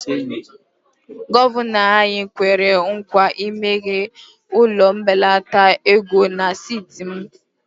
Gọvanọ anyị kwere nkwa imeghe ụlọ mbelata ego na steeti m